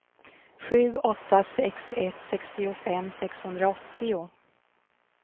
sju åtta sex ett sextiofem sexhundraåttio